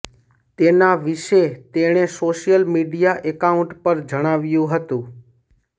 તેના વિશે તેણે સોશિયલ મીડિયા એકાઉન્ટ પર જણાવ્યું હતું